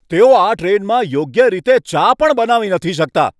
તેઓ આ ટ્રેનમાં યોગ્ય રીતે ચા પણ નથી બનાવી શકતા!